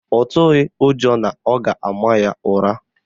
Ọ tụghị ụjọ na ọ ga-ama ya ụra